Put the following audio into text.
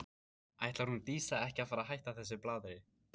Ætlar hún Dísa ekki að fara að hætta þessu blaðri?